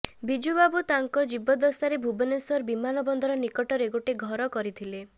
ବିଜୁବାବୁ ତାଙ୍କ ଜୀବଦ୍ଦଶାରେ ଭୁବନେଶ୍ୱର ବିମାନ ବନ୍ଦର ନିକଟରେ ଗୋଟେ ଘର କରିଥିଲେ